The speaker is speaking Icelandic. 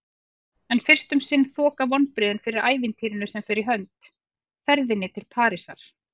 En fyrst um sinn þoka vonbrigðin fyrir ævintýrinu sem fer í hönd: ferðinni til Parísar.